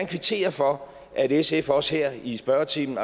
kvittere for at sf også her i spørgetimen